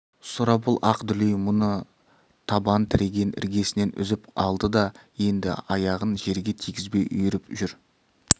сұрапыл ақ дүлей мұны табан тіреген іргесінен үзіп алды да енді аяғын жерге тигізбей үйіріп жүр